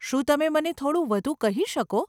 શું તમે મને થોડું વધુ કહી શકો?